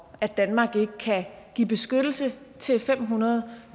at danmark ikke kan give beskyttelse til fem hundrede